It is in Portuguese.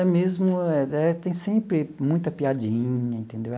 É mesmo, tem sempre muita piadinha, entendeu?